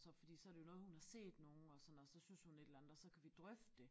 Så fordi så det jo noget hun har set nogen og sådan og så synes hun et eller andet og så kan vi drøfte det